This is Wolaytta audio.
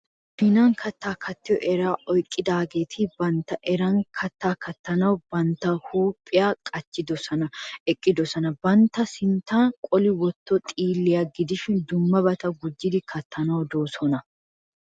Kushshinan katta katyo eraa oyikkidaageeti bantta eran katta kattanawu bantta huuphiyan qachchidi eqqidosona. Bantta sinttan qoli wottoogee xiilliya gidishin dummabata gujjidi kattanaanoosona.